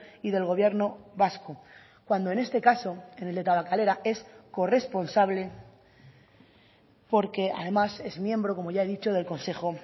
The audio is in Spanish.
y del gobierno vasco cuando en este caso en el de tabakalera es corresponsable porque además es miembro como ya he dicho del consejo